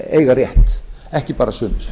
eiga rétt ekki bara sumir